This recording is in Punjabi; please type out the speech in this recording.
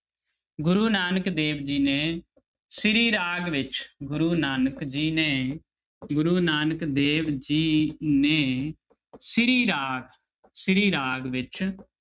ਗੁਰੂ ਨਾਨਕ ਦੇਵ ਜੀ ਨੇ ਸ੍ਰੀ ਰਾਗ ਵਿੱਚ ਗੁਰੂ ਨਾਨਕ ਜੀ ਨੇ ਗੁਰੂ ਨਾਨਕ ਦੇਵ ਜੀ ਨੇ ਸ੍ਰੀ ਰਾਗ ਸ੍ਰੀ ਰਾਗ ਵਿੱਚ